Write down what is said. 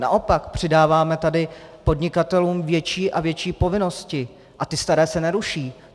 Naopak přidáváme tady podnikatelům větší a větší povinnosti a ty staré se neruší.